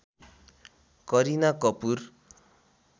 Kareena Kapoor